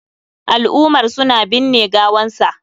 Al'umar su na binne gawan sa.